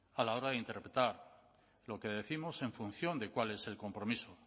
a la hora de interpretar lo que décimos en función de cuál es el compromiso